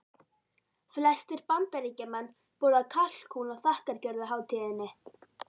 Flestir Bandaríkjamenn borða kalkún á þakkargjörðarhátíðinni.